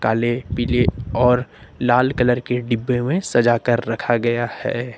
काले पीले और लाल कलर के डिब्बे में सजाकर रखा गया है।